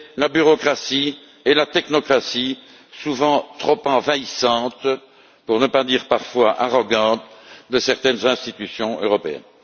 la bureaucratie et la technocratie souvent trop envahissantes, pour ne pas dire parfois arrogantes, de certaines institutions européennes.